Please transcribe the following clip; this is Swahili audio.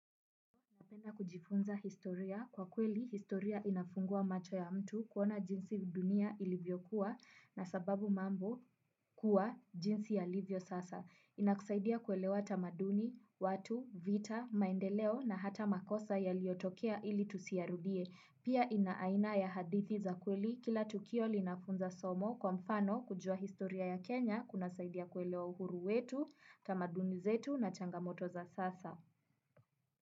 Napenda kujifunza historia kwa kweli historia inafungua macho ya mtu kuona jinsi dunia ilivyokuwa na sababu mambo kuwa jinsi yalivyo sasa. Inakusaidia kuelewa tamaduni, watu, vita, maendeleo na hata makosa yaliotokea ili tusiyarudie. Pia ina aina ya hadithi za kweli kila tukio linafunza somo kwa mfano kujua historia ya Kenya kunasaidia kuelewa uhuru wetu, tamaduni zetu na changamoto za sasa.